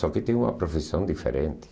Só que tem uma profissão diferente.